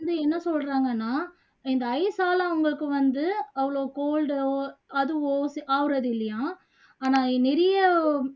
வந்து என்ன சொல்றாங்கன்னா இந்த ice ஆல அவங்களுக்கு வந்து அவ்ளோ cold ஓ அதுவோ ஆகுறது இல்லையாம் ஆனா நிறைய